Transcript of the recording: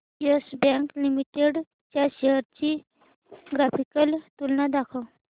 yes Bank Limited च्या shares ची graphical तुलना दाखव